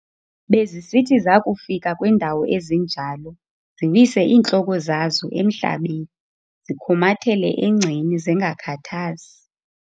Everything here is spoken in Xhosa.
Bezisithi zakufika kwiindawo ezinjalo, ziwise iintloko zazo emhlabeni zikhumathele engceni zingakhathazi.